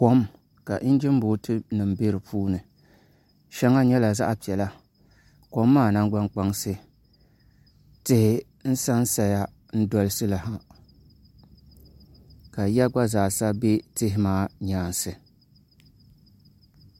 Kom ka injin booti nim bɛ di puuni shɛŋa nyɛla zaɣ piɛla kom maa nangbani kpansi tihi n sansaya n dolisili ha ka yiya gba zaa sa bɛ tihi maa kpansi